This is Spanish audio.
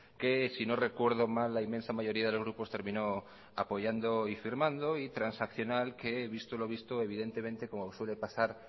que si no recuerdo mal la inmensa mayoría de los grupos terminó apoyando y firmando y transaccional que visto lo visto evidentemente como suele pasar